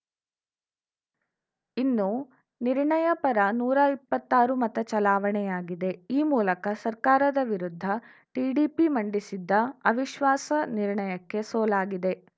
ಇನ್ನು ನಿರ್ಣಯ ಪರ ನೂರಾ ಇಪ್ಪತ್ತಾರು ಮತ ಚಲಾವಣೆಯಾಗಿದೆ ಈ ಮೂಲಕ ಸರ್ಕಾರದ ವಿರುದ್ಧ ಟಿಡಿಪಿ ಮಂಡಿಸಿದ್ದ ಅವಿಶ್ವಾಸ ನಿರ್ಣಯಕ್ಕೆ ಸೋಲಾಗಿದೆ